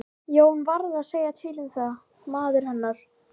Jón varð að segja til um það, maður hennar.